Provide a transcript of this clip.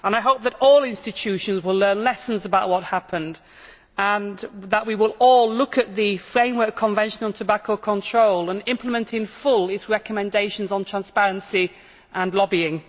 I hope that all the institutions will learn lessons about what happened and that we will all look at the Framework Convention on Tobacco Control and implement in full its recommendations on transparency and lobbying.